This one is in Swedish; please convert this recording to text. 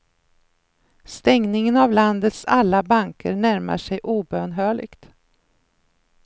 Stängningen av landets alla banker närmar sig obönhörligt.